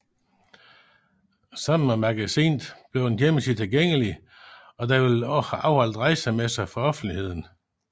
Sammen med magasinet bliver en hjemmeside tilgængelig og der vil blive afholdt rejsemesser for offentligheden